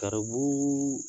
Garibu